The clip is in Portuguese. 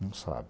Não sabe.